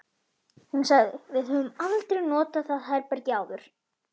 Hún sagði: Við höfum aldrei notað það herbergi áður